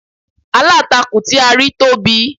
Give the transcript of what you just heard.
Aláǹtakùn tí a rí tóbi